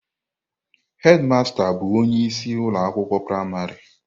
Hedmasta bụ onye isi ụlọ akwụkwọ praịmarị.